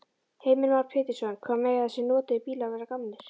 Heimir Már Pétursson: Hvað mega þessir notuðu bílar vera gamlir?